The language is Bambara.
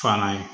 Fana ye